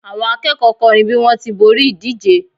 àwọn akẹ́kọ̀ọ́ kọrin bi wọn ti b'ori ìdíje